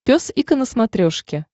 пес и ко на смотрешке